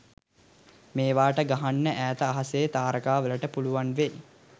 මේවට ගහන්න ඈත අහසෙ තාරකා වලට පුලුවන් වෙයි